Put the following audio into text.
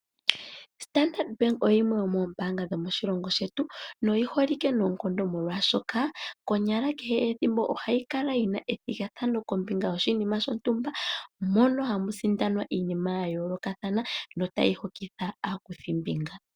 Standard bank oyo yimwe yomoombaanga moshilongo shetu, noyiholike noonkondo molwaashoka konyala kehe ethimbo ohayi kala yina ethigathano kombinga yoshinima shontumba, moka hamu sindanwa iinima ya yoolokathana, notayi hokitha aakuthimbinga.